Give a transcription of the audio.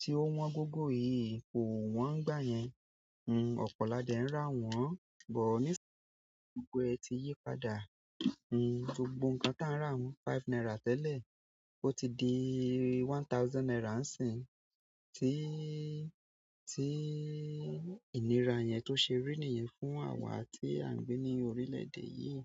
tí ó wọ́n gógó yìí kò wọ́n gbà yẹn. Ọ̀pọ̀ la dẹ ń rà wọ́n, bọ̀ nísinsinyìí gbogbo ẹ ti yípadà, gbogbo ǹkan táa ń rà wọ́n five naira tẹ́lẹ̀, ó ti di one thousand naira ńisìn. Ti, ti, ìnira yẹn tó ṣe rí nìyẹn fún àwa tí à ń gbé ní orílẹ̀ èdè yìí.